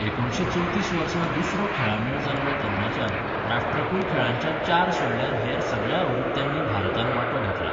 एकुणशे चवतीस वर्सा दुसरो खेळांमेळ जाल्लो तेन्नाच्यान, राष्ट्रकुल खेळांच्या चार सोडल्यार हेर सगळ्या आवृत्त्यांनी भारतान वांटो घेतला.